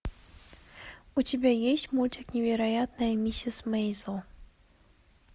у тебя есть мультик невероятная миссис мейзел